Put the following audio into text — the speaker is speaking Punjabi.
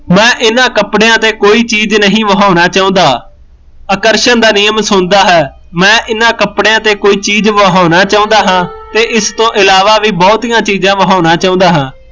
ਮੈਂ ਇਹਨਾਂ ਕੱਪੜਿਆਂ ਤੇ ਕੋਈ ਚੀਜ਼ ਨਹੀਂ ਵਾਹੁਣਾ ਚਾਹੁੰਦਾ ਆਕਰਸ਼ਣ ਦਾ ਨਿਯਮ ਸੁਣਦਾ ਹੈ ਮੈਂ ਇਹਨਾਂ ਕੱਪੜਿਆਂ ਤੇ ਕੋਈ ਚੀਜ਼ ਵਾਹੁਣਾ ਚਾਹੁੰਦਾ ਹਾਂ ਤੇ ਇਸ ਤੋ ਇਲਾਵਾ ਵੀ ਬਹੁਤੀਆਂ ਚੀਜ਼ਾਂ ਵਾਹੁਣਾ ਚਾਹੁੰਦਾ ਹਾਂ